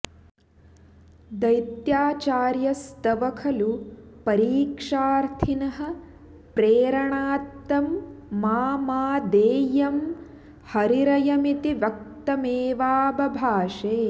दैत्याचार्यस्तव खलु परीक्षार्थिनः प्रेरणात्तं मा मा देयं हरिरयमिति व्यक्तमेवाबभाषे